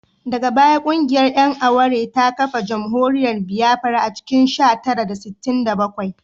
Daga baya kungiyar ‘yan aware ta kafa jamhuriyar Biafra a cikin sha tara da sittin da bakwai